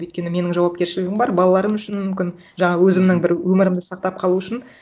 өйткені менің жаупкершілігім бар балаларым үшін мүмкін жаңа өзімнің бір өмірімді сақтап қалу үшін